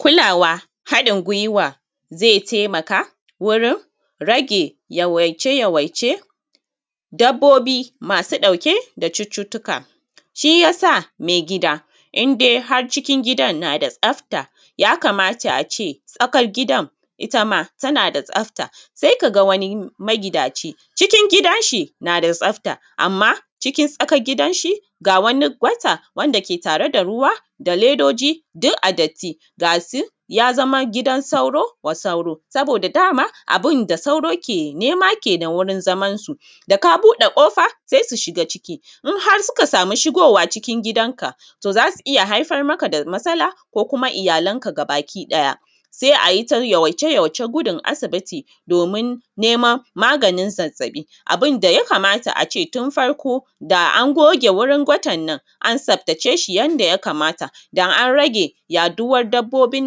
kulawa haɗin gwiwazai taimaka gurin rage yawaice yawaice dabbobi masu ɗauke da cututtuka shi yasa mai gida in dai har cikin gidan na da tsafta ya kamata a ce tsakar gidan itama tana da tsafta sai kaga wai magidanci cikin gidan shin a da tsafta amma cikin tsakar gidan shi ga wani gwata wanda ke tare da ruwa da ledoji duk a datti gashi ya zama gidan sauro wa sauro saboda dama abin da sauro ke nema kenan wurin zamansu da ka buɗe ƙofa sai su shiga ciki in har suka sami shigowa cikin gidan ka to za su iya haifar maka da matsala ko kuma da iyalan baki ɗada sai ayi ta yawaice yawaicen gudun asibiti domin neman maganin zazzabi abun da ya kamata a ce tun farko da an goge wurin gwatanan an tsaftace shi yanda ya kamata da an rage yaɗuwan dabbobin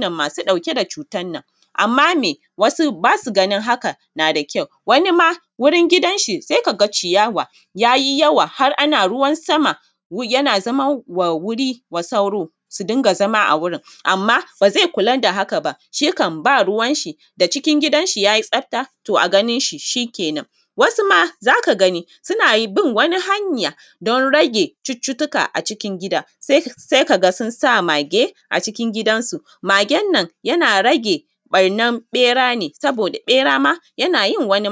nan masu ɗauke da cutan nan amma mai wasu ba su ganin hakan na da kyau wani ma wurin gidan shi sai kaga ciyawa yayi yawa har ana ruwan sama yana zama wuri wa sauro su dinga zama a wurin amma ba zai kulan da haka ba shi kam ba ruwan shi da cikin gidan shi yayi tsafta to a ganin shi shi kenan wasu ma zaka gani suna bin wani hanya dan rage cututtuka a cikin gida sai kaga sun sa mage a cikin gidan su, magen nan yana rage ɓarnan ɓera ne saboda ɓera ma yana yin wani